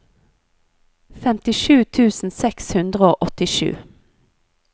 femtisju tusen seks hundre og åttisju